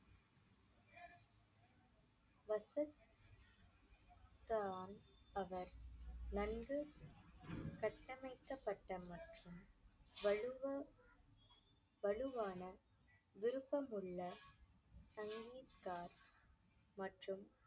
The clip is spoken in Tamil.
அவர் நன்கு கட்டமைக்கப்பட்ட மற்றும் வலுவா~ வலுவான விருப்பமுள்ள மற்றும்